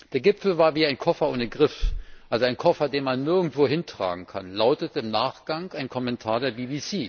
Der Gipfel war wie ein Koffer ohne Griff, also ein Koffer, den man nirgendwohin tragen kann, lautete im Nachgang ein Kommentar der BBC.